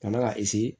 Kana ka